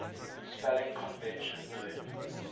spelling convention known